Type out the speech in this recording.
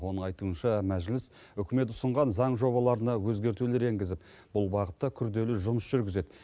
оның айтуынша мәжіліс үкімет ұсынған заң жобаларына өзгертулер енгізіп бұл бағытта күрделі жұмыс жүргізеді